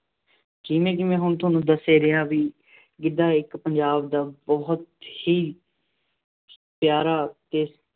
ਜਿਵੇਂ ਜਿਵੇਂ ਹੁਣ ਤੁਹਾਨੂੰ ਦੱਸ ਹੀ ਰਿਹਾਂ ਬਈ ਗਿੱਧਾ ਇੱਕ ਪੰਜਾਬ ਦਾ ਬਹੁਤ ਹੀ ਪਿਆਰਾ ਅਤੇ